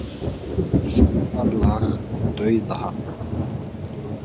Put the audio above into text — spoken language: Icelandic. Sólarlag við Dauðahafið.